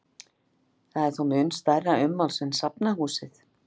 Það er þó mun stærra ummáls en safnahúsið.